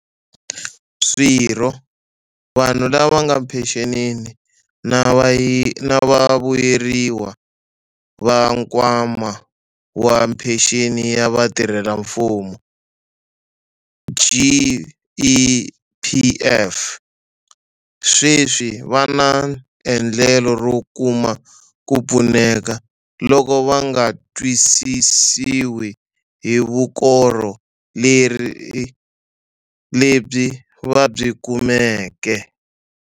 Swirho, vanhu lava nga ephenxenini na vavuyeriwa va Nkwama wa Phenxeni ya Vatirhelamfumo, GEPF, sweswi va na endlelo ro kuma ku pfuneka loko va nga tsakisiwi hi vukorhokeri lebyi va byi kumeke.